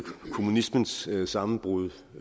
kommunismens sammenbrud